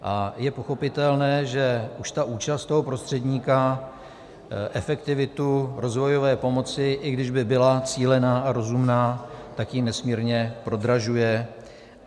A je pochopitelné, že už ta účast toho prostředníka efektivitu rozvojové pomoci, i když by byla cílená a rozumná, tak ji nesmírně prodražuje.